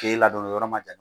K'e ladonni o yɔrɔ ma jate